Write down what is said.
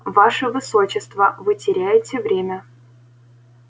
ваше высочество вы теряете время